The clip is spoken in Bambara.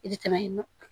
I bɛ tɛmɛ